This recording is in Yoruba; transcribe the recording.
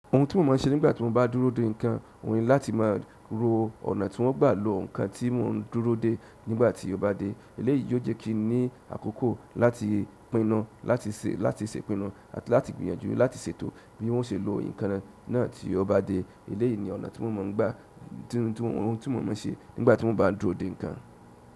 Ohun tí mo máa ń ṣe nígbà tí mo bá dúró de nǹkan, òun ni láti máa ro ọ̀nà tí wọ́n gbà lo nǹkan tí mò ń dúró de nígbà tí ó bá dé. Eléyìí yóò jẹ́ kí n ní àkókò láti pín nu, láti ṣe, láti ṣe ipínu àti láti gbìyànjú láti ṣètò bí wọ́n ṣe lo ìkan náà tí ó bá dé. Eleyi ni ọ̀nà ti mo maa n gba ti mo máa n se nigbati mo baa n dúró de nkan.